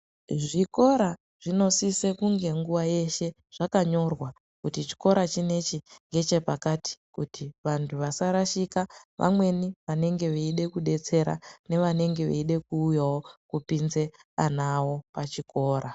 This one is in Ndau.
Zvikora zvinosisa kunge nguva yeshe zvakanyorwa kuti chikora chinechi ngechepakati kuti vantu vasarashika vamweni vanenge veide kudetsera nevamweni vanenge veida kupinza ana awo pachikora.